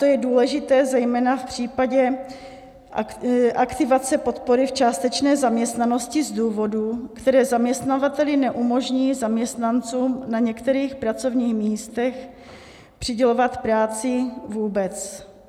To je důležité zejména v případě aktivace podpory v částečné zaměstnanosti z důvodů, které zaměstnavateli neumožní zaměstnancům na některých pracovních místech přidělovat práci vůbec.